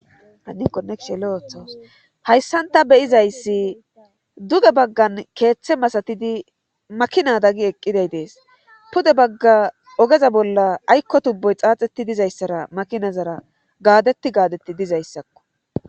Hayssan ta be7izayssi duge baggan keeththe masatidi makinada gi eqqiday dees pude bagga ogeza bolla aykko tubboy xaaxeti dizayssara makinazara gaadeti gaadetti dizayssakko.